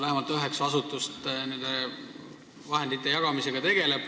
Vähemalt üheksa asutust tegeleb nende vahendite jagamisega.